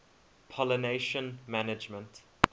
pollination management